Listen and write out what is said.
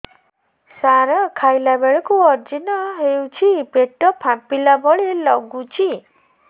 ସାର ଖାଇଲା ବେଳକୁ ଅଜିର୍ଣ ହେଉଛି ପେଟ ଫାମ୍ପିଲା ଭଳି ଲଗୁଛି